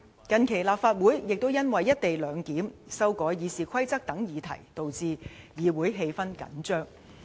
近期立法會也因為"一地兩檢"、修改《議事規則》等議題導致議會氣氛緊張。